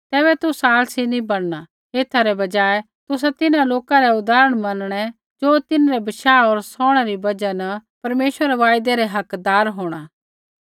तैबै तुसा आलसी नैंई बणना एथा रै बजाय तुसा तिन्हां लोका रै उदाहरण मनणै ज़ो तिन्हरै बशाह होर सौहणै री बजहा न परमेश्वरा रै वायदै रा हकदार होंणा